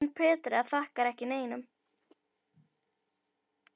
En Petra þakkar ekki neinum.